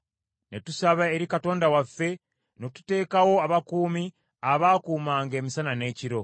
Ne tusaba eri Katonda waffe, ne tuteekawo n’abakuumi abaakuumanga emisana n’ekiro.